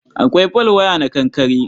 Akwai folwaya na kankare.